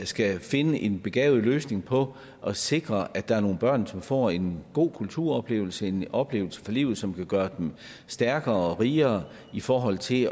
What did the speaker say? skal finde en begavet løsning på og sikre at der er nogle børn som får en god kulturoplevelse og en oplevelse for livet som kan gøre dem stærkere og rigere i forhold til